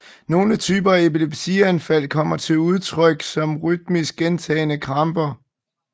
Nogle typer af epilepsianfald kommer til udtrykt som rytmiske gentagne kramper